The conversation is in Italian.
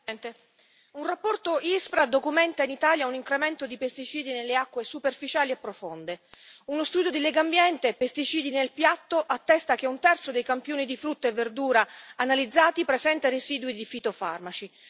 Signora Presidente, onorevoli colleghi, un rapporto Ispra documenta in Italia un incremento di pesticidi nelle acque superficiali e profonde. Uno studio di Legambiente dal titolo Pesticidi nel piatto attesta che un terzo dei campioni di frutta e verdura analizzati presenta residui di fitofarmaci.